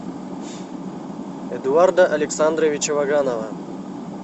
эдуарда александровича ваганова